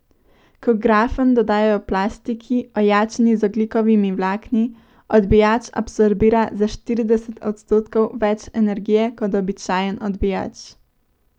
Ko grafen dodajo plastiki, ojačani z ogljikovimi vlakni, odbijač absorbira za štirideset odstotkov več energije kot običajen odbijač.